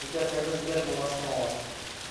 сбер когда сбер был основан